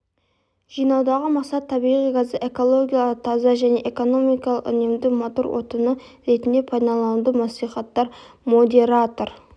жинаудағы мақсат табиғи газды экологиялық таза және экономикалық үнемді мотор отыны ретінде пайдалануды насихаттау модератор